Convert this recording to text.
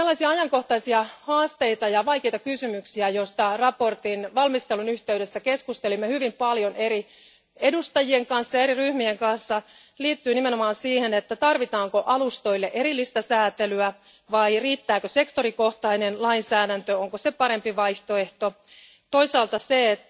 Ajankohtaisia haasteita ja vaikeita kysymyksiä, joista mietinnön valmistelun yhteydessä keskustelimme hyvin paljon eri edustajien ja eri ryhmien kanssa, liittyy nimenomaan siihen, tarvitaanko alustoille erillistä säätelyä vai riittääkö sektorikohtainen lainsäädäntö ja onko se parempi vaihtoehto, ja toisaalta siihen,